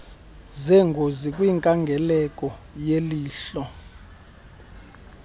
zengozi kwinkangeleko yelihlo